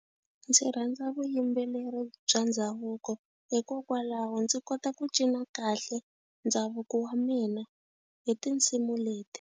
Ndzi rhandza vuyimbeleri bya ndhavuko hikokwalaho ndzi kota ku cina kahle ndhavuko wa mina hi tinsimu leti.